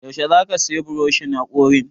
Yaushe zaka sayi buroshin haƙorin?